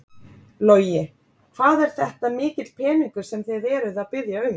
Logi: Hvað er þetta mikill peningur sem þið eruð að biðja um?